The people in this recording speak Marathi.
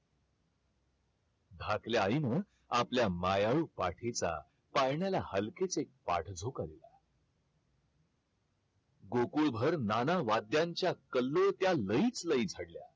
धाकल्या आईन आपल्या मायाळू पाठीचा पाळण्या हलकेच एक पाठ झोकन गोकुळ भर नानावाद्यांच्या कल्लोळत्या लयीत लयी